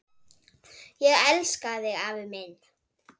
Ég elska þig, afi minn!